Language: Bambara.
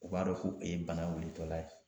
U b'a dɔn k'u ye bana wilitɔla ye.